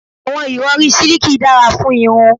Àwọn ìrọri siliki dára fún irun